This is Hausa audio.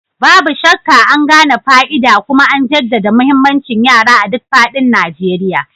Babu shakka, an gane fa'ida kuma an jaddada muhimmancin yara a duk faɗin Najeriya.